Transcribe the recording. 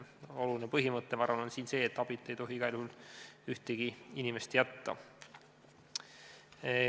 Oluline põhimõte on minu arvates siin see, et abita ei tohi mingil juhul ühtegi inimest jätta.